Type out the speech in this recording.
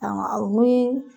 Awɔ